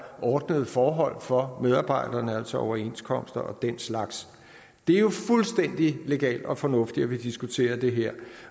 ordnede forhold for medarbejderne altså overenskomster og den slags det er jo fuldstændig legalt og fornuftigt at vi diskuterer det her